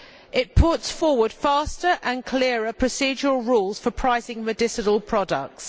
It sets out faster and clearer procedural rules for pricing medicinal products.